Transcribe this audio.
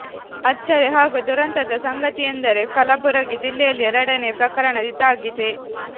ಅಚ್ಚರಿ ಹಾಗೂ ದುರಂತದ ಸಂಗತಿಯೆಂದರೆ ಕಲಬುರಗಿ ಜಿಲ್ಲೆಯಲ್ಲಿ ಎರಡನೇ ಪ್ರಕರಣ ಇದಾಗಿದೆ